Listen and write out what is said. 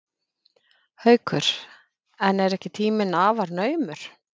Haukur: En er ekki tíminn afar naumur?